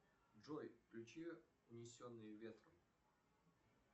джой включи унесенные ветром